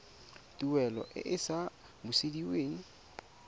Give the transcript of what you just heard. tuelo e e sa busediweng